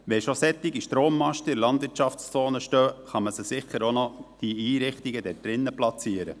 Wenn schon solche Strommasten in den Landwirtschaftszonen stehen, kann man sicher auch diese Einrichtungen dort drin platzieren.